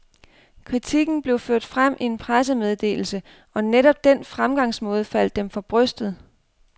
Kritikken blev ført frem i en pressemeddelse, og netop den fremgangsmåde faldt dem for brystet.